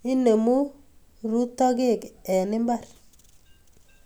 Inemu rotokek eng mbar